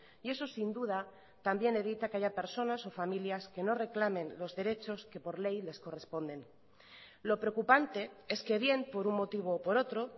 y eso sin duda también evita que haya personas o familias que no reclamen los derechos que por ley les corresponden lo preocupante es que bien por un motivo o por otro